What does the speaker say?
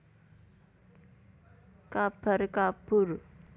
Kabar kabur